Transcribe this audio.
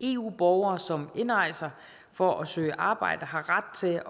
eu borgere som indrejser for at søge arbejde har ret til